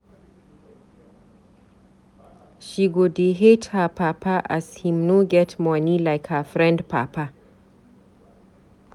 She go dey hate her papa as him no get moni like her friend papa.